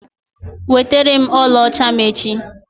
Weterem ọlaọcha m echi!